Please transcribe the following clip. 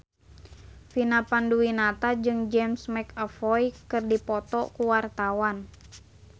Vina Panduwinata jeung James McAvoy keur dipoto ku wartawan